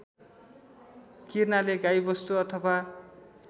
किर्नाले गाईवस्तु अथवा